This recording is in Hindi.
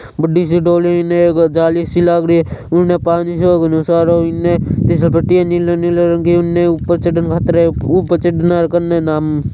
बड़ी सी डोली जाली सी लागरी है उन पानि सोक्नो सरो अन्ने खिस्सपटी है निलो-निलो रंग उन्ने उपर चढ़न घातरयो। उ पचत ना कन्ने नुम --